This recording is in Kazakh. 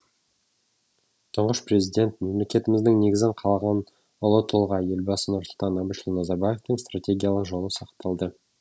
тұңғыш президент мемлекетіміздің негізін қалаған ұлы тұлға елбасы нұрсұлтан әбішұлы назарбаевтың стартегиялық жолы сақталды